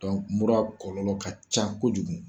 mura kɔlɔlɔ ka ca kojugu.